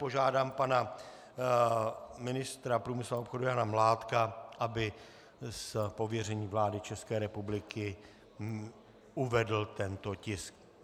Požádám pana ministra průmyslu a obchodu Jana Mládka, aby z pověření vlády České republiky uvedl tento tisk.